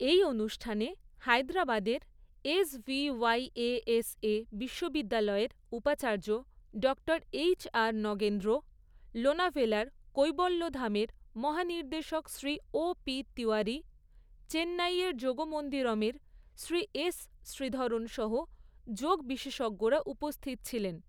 এই অনুষ্ঠানে হায়দ্রাবাদের এসভিওয়াইএএসএ বিশ্ববিদ্যালয়ের উপাচার্য ডক্টর এইচ আর নগেন্দ্র, লোনাভেলার কৈবল্যধামের মহানির্দেশক শ্রী ও পি তিওয়ারি, চেন্নাইয়ের যোগমন্দিরমের শ্রী এস শ্রীধরণ সহ যোগ বিশেষজ্ঞরা উপস্থিত ছিলেন।